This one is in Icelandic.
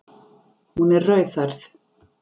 Hún er rauðhærð.